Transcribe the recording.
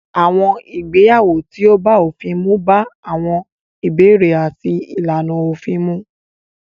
Àwọn ìgbéyàwó tí ó bá òfin mu bá àwọn ìbéèrè àti ìlànà òfin mu.